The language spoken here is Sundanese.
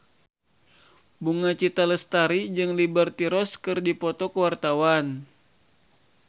Bunga Citra Lestari jeung Liberty Ross keur dipoto ku wartawan